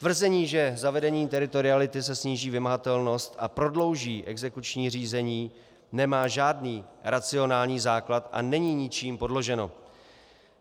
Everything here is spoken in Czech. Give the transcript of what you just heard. Tvrzení, že zavedením teritoriality se sníží vymahatelnost a prodlouží exekuční řízení, nemá žádný racionální základ a není ničím podloženo.